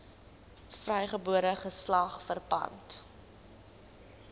vrygebore geslag verpand